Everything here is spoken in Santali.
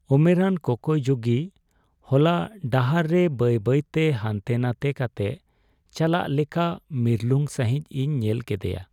ᱩᱢᱮᱨᱟᱱ ᱠᱚᱠᱚᱭ ᱡᱩᱜᱤ ᱦᱚᱞᱟ ᱰᱟᱦᱟᱨ ᱨᱮ ᱵᱟᱹᱭ ᱵᱟᱹᱭᱛᱮ ᱦᱟᱱᱛᱮ ᱱᱟᱛᱮ ᱠᱟᱛᱮ ᱪᱟᱞᱟᱜ ᱞᱮᱠᱟ ᱢᱤᱨᱞᱩᱝ ᱥᱟᱹᱦᱤᱡ ᱤᱧ ᱧᱮᱞ ᱠᱮᱫᱮᱭᱟ ᱾